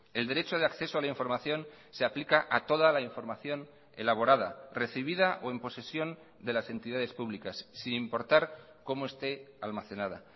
el derecho de acceso a la información se aplica a toda la información elaborada recibida o en posesión de las entidades públicas sin importar cómo esté almacenada